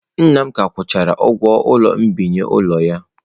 Nna m ka akwụchara ụgwọ mbinye ụlọ ya.